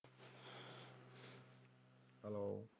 Hello.